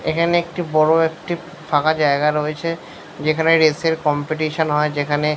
এখানে একটি বড় একটি ফাঁকা জায়গা রয়েছে। যেখানে রেসের কম্পিটিশন হয় যেখানে।